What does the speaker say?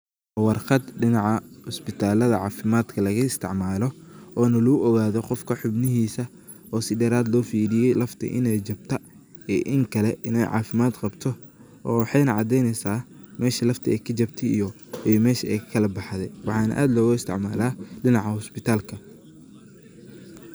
Warqaat dinaca isbitaltha cafimad agaka isticmaloh oo na lagu ugathoh Qoofka xeebnahisa si dheerat lo feriyoh lafta, inay jabtaa iyo inkali inay cafimad Qabtoh, oo waxayna cadeeyneysah meesha lafta Aya ka jabtay iyo mesh Aya kalakbaxday waxana aad loga isticmalah dinaca isbitalka.